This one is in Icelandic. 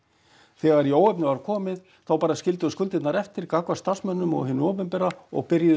þegar í óefni var komið þá bara skildu þau skuldirnar eftir gagnvart starfsmönnum og hinu opinbera og byrjuðu